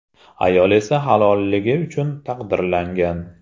Ayol esa halolligi uchun taqdirlangan.